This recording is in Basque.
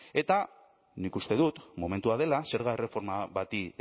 eta nik uste dut momentua dela zerga erreforma bati